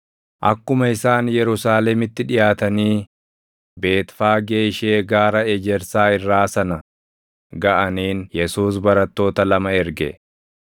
Akkuma isaan Yerusaalemitti dhiʼaatanii Beetfaagee ishee Gaara Ejersaa irraa sana gaʼaniin Yesuus barattoota lama erge;